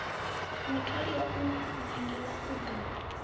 mutholiwa o nangiwaho u ḓo